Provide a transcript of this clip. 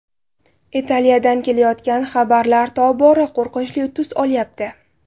Italiyadan kelayotgan xabarlar tobora qo‘rqinchli tus olyapti.